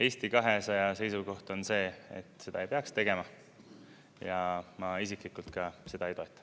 Eesti 200 seisukoht on see, et seda ei peaks tegema, ja ma isiklikult ka seda ei toeta.